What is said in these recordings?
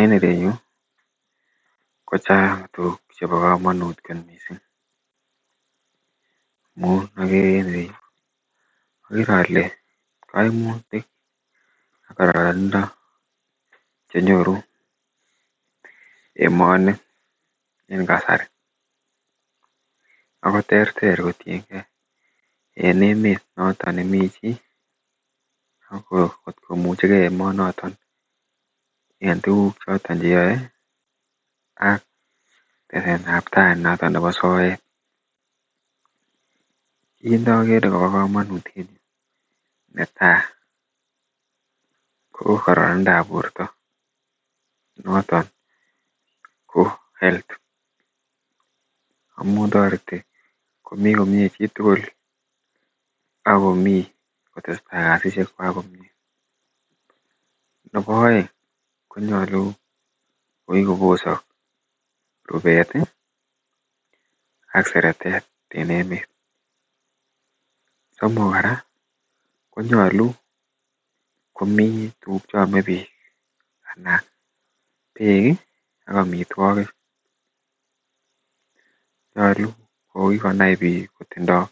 en ireyuu kochang tuguk chebo komonut kot mising omun ogere en ireyuu, ogere ole koimutik ak kororonindo chenyoruu emooni en kasarii ago terter kotiyengee en emet noton nemii chii agomuchegee emoonoton en tuguk choton cheyoe ak teset ab tai noton nebo soet, kiit ndogere nebo komonut en yuu, netai ko kororindo ab porto noton ko health amun toreti komii komyee chitugul ak komii kotesetai kasisyeek chwaak komyee, nebo oeng konyolu kogigobosok rubeet iih ak seretet en emet, somok koraa konyolu komii tuguk cheome biik anan beek iih ak omitwogik nyolu kogigonai biik kotindoo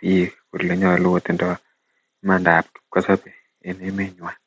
biik kole nyolu kotindoo imandaa ab kipkosobe en emet nywaan